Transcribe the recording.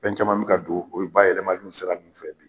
Fɛn caman mi ka don o bayɛlɛmaliw sira ninnu fɛ bi.